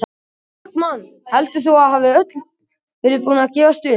Logi Bergmann: Heldur þú að þið hafið öll verið búin að gefast upp?